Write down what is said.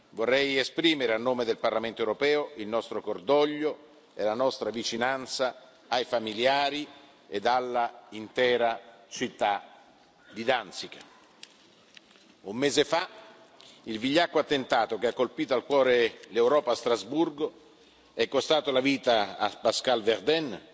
Vorrei esprimere, a nome del Parlamento europeo, il nostro cordoglio e la nostra vicinanza ai familiari e all'intera città di Danzica. Un mese fa il vigliacco attentato che ha colpito al cuore l'Europa a Strasburgo è costato la vita a Pascal Verden,